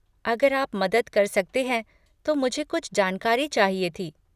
अगर आप मदद कर सकते हैं तो मुझे कुछ जानकारी चाहिए थी।